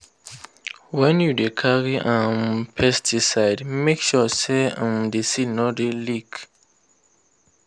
when you dey carry um pesticide make sure say um the seal no dey leak.